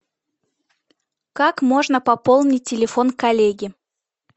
как можно пополнить телефон коллеге